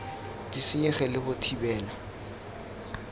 di senyege le go thibela